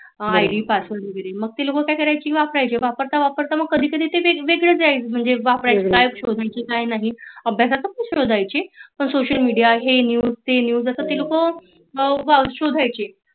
मग ती लोक काय करायची वापरायची मग वापरता वापरता ते कधी कधी वेग वेगळे काय शोधायचे काय नाही अभ्यासात पण सोशल मेडिया ही news ती news अस ते लोक बघायची